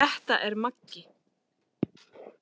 Þetta er Maggi!